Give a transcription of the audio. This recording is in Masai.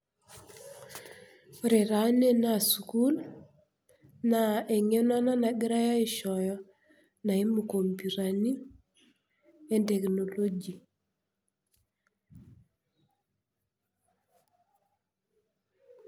Ore taa ene naa sukuul, naa eng'eno ena nagirai aishooyo naimu inko kompyutani o technology.